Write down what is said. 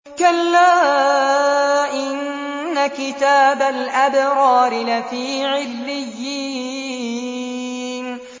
كَلَّا إِنَّ كِتَابَ الْأَبْرَارِ لَفِي عِلِّيِّينَ